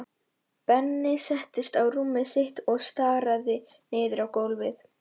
Benni settist á rúmið sitt og starði niður á gólfið.